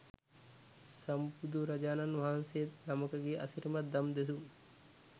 සම්බුදුරජාණන් වහන්සේ නමකගේ අසිරිමත් දම් දෙසුම්